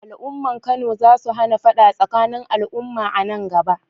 Al’ummar Kano za su hana fada tsakanin al’umma a nan gaba.